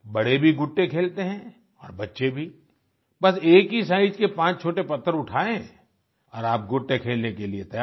बड़े भी गुट्टे खेलते हैं और बच्चे भी बस एक ही साइज के पांच छोटे पत्थर उठाए और आप गुट्टे खेलने के लिए तैयार